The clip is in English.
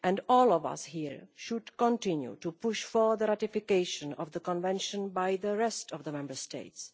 All of us here should continue to push for the ratification of the Convention by the rest of the Member States.